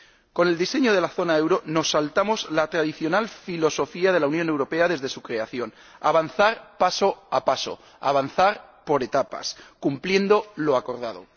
Con el diseño de la zona euro nos saltamos la tradicional filosofía de la Unión Europea desde su creación avanzar paso a paso, avanzar por etapas, cumpliendo lo acordado.